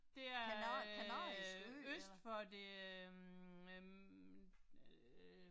Det er øh øst for det øh øh øh